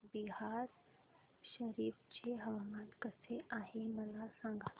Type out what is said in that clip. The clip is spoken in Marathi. बिहार शरीफ चे हवामान कसे आहे मला सांगा